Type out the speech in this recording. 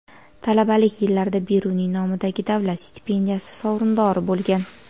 Talabalik yillarida Beruniy nomidagi davlat stipendiyasi sovrindori bo‘lgan.